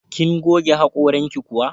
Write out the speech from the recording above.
Kin goge haƙoranki kuwa?